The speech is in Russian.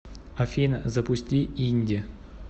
афина запусти инди